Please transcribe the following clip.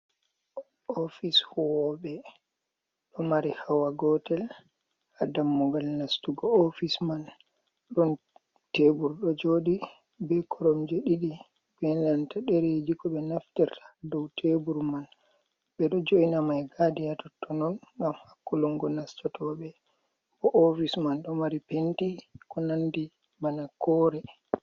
Ofis huwobe do mari hawa gotel ha dammugal nastugo, Ofis man don tebur do jodi be korom je didi e nanta dereji ko be nafterta dow tebur man be do joina mai gadi ha tottonon gam hakkulongo nastatobe, bo ofis man do mari penti ko nandi bana kore.